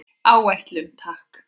Áætlun, takk.